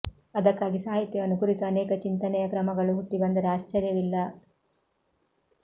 ಅದಕ್ಕಾಗಿ ಸಾಹಿತ್ಯವನ್ನು ಕುರಿತು ಅನೇಕ ಚಿಂತನೆಯ ಕ್ರಮಗಳು ಹುಟ್ಟಿ ಬಂದರೆ ಆಶ್ಚರ್ಯವಿಲ್ಲ